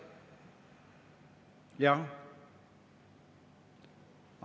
Jah.